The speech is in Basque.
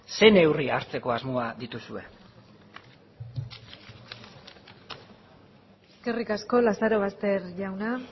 zein neurri hartzeko asmoa dituzue eskerrik asko lazarobaster jauna